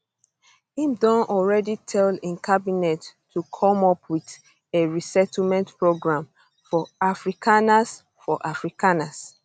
im don already tell im cabinet to come up wit a resettlement program for afrikaners for afrikaners